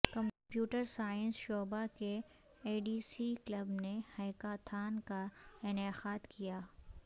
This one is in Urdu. کمپیوٹر سائنس شعبہ کے اے ڈی سی کلب نے ہیکاتھان کا انعقاد کیا